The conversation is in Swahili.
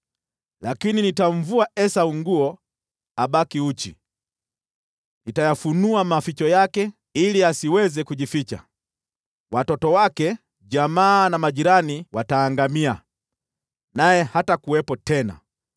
Lakini nitamvua Esau nguo abaki uchi, nitayafunua maficho yake, ili asiweze kujificha. Watoto wake, jamaa na majirani wataangamia, naye hatakuwepo tena.